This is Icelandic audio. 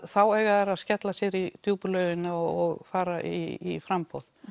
þá eiga þær að skella sér í djúpu laugina og fara í framboð